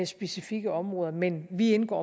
specifikke områder men vi indgår